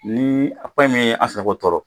Ni a tɔɔrɔ